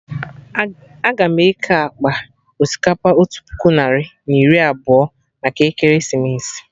Aga m eke akpa osikapa otu puku narị na iri abụọ maka ekeresimesi